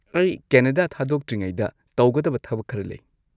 ꯑꯩ ꯀꯦꯅꯗꯥ ꯊꯥꯗꯣꯛꯇ꯭ꯔꯤꯉꯩꯗ ꯇꯧꯒꯗꯕ ꯊꯕꯛ ꯈꯔ ꯂꯩ꯫